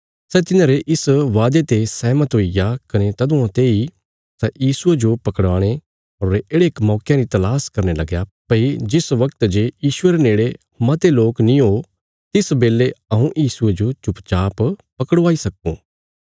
सै तिन्हारे इस बादे ते सहमत हुईग्या कने तदुआं तेई सै यीशुये जो पकड़ाणे रे येढ़े मौकयां री तलास करने लगया भई जिस बगत जे यीशुये रे नेड़े मते लोक नीं हो तिस बेले हऊँ यीशुये जो चुपचाप पकड़वाई सक्को